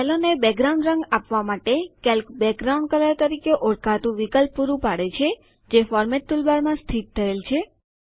સેલોને background રંગ આપવા માટે કેલ્ક બેકગ્રાઉન્ડ કલર તરીકે ઓળખાતું વિકલ્પ પુરુ પાડે છે જે ફોર્મેટ ટૂલબાર માં સ્થિત થયેલ છે